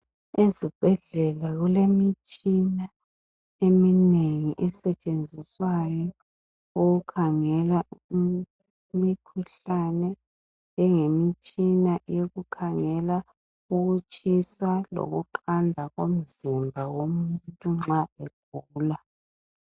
Ezibhedlela kulemitshina eminengi esetshenziswayo ukukhangela imikhuhlane njengemitshina yokukhangela ukutshisa lokuqanda komzimba womuntu nxa egula